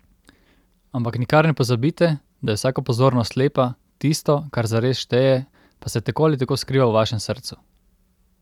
Ampak nikar ne pozabite, da je vsaka pozornost lepa, tisto, kar zares šteje, pa se tako ali tako skriva v vašem srcu!